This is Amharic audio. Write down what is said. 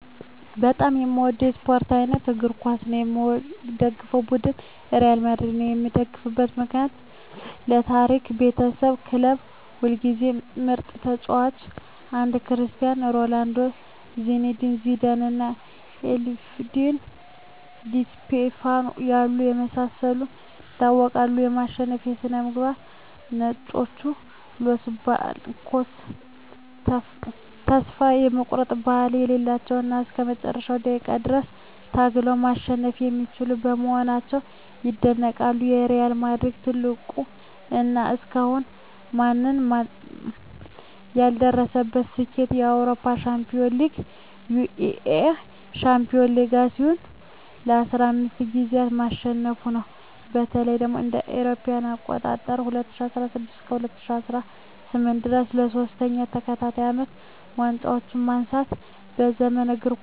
በጣም የምወደው የስፓርት አይነት እግር ኳስ ነው። የምደግፈው ቡድን ሪያል ማድሪድ ነው። የምደግፍበት ምክንያት ዠ የታሪክ ባለቤትነት ክለቡ ሁልጊዜም ምርጥ ተጫዋቾችን (እንደ ክርስቲያኖ ሮናልዶ፣ ዚነዲን ዚዳን እና አልፍሬዶ ዲ ስቲፋኖ ያሉ) በማሰባሰብ ይታወቃል። የማሸነፍ ስነ-ልቦና "ነጮቹ" (Los Blancos) ተስፋ የመቁረጥ ባህሪ የሌላቸው እና እስከ መጨረሻው ደቂቃ ድረስ ታግለው ማሸነፍ የሚችሉ በመሆናቸው ይደነቃሉ። የሪያል ማድሪድ ትልቁ እና እስካሁን ማንም ያልደረሰበት ስኬት የአውሮፓ ሻምፒዮንስ ሊግን (UEFA Champions League) ለ15 ጊዜያት ማሸነፉ ነው። በተለይም እ.ኤ.አ. ከ2016 እስከ 2018 ድረስ ለሶስት ተከታታይ አመታት ዋንጫውን ማንሳቱ በዘመናዊው እግር ኳስ ታሪክ እንደ ትልቅ ተአምር ይቆጠራል።